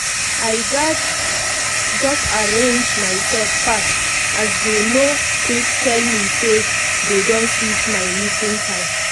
i gatz just arrange myself fast as they no quick tell me say dey don switch my meeting time